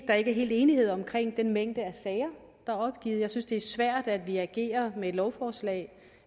der ikke helt er enighed om den mængde sager der er opgivet jeg synes det er svært at vi agerer med et lovforslag